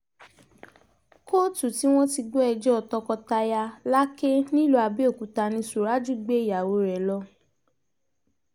kóòtù tí wọ́n ti ń gbọ́ ẹjọ́ tọkọ-taya làkè nílùú abẹ́ọ́kútà ni suraju gbé ìyàwó rẹ̀ yìí lọ